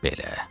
Belə.